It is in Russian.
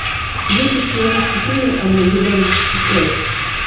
дети шпионов четыре армагеддон открой